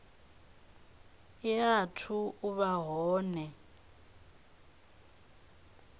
i athu u vha hone